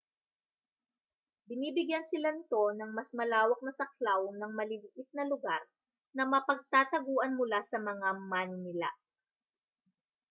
binibigyan sila nito ng mas malawak na saklaw ng maliliit na lugar na mapagtataguan mula sa mga maninila